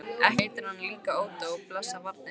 Ekki heitir hann líka Ódó, blessað barnið.